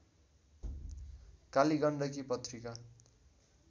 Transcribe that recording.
Kaligandaki Patrika